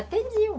Atendiam.